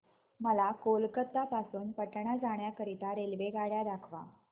मला कोलकता पासून पटणा जाण्या करीता रेल्वेगाड्या दाखवा